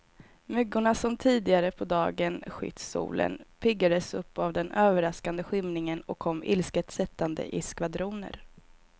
Myggorna som tidigare på dagen skytt solen, piggades upp av den överraskande skymningen och kom ilsket sättande i skvadroner.